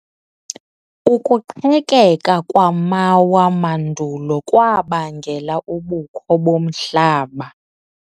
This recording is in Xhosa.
Ukuqhekeka kwamawa mandulo kwabangela ubukho bomhlaba.